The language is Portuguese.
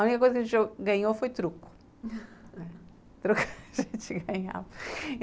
A única coisa que a gente ganhou foi truco truco a gente ganhava